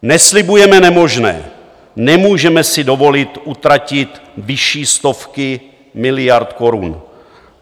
Neslibujeme nemožné, nemůžeme si dovolit utratit vyšší stovky miliard korun.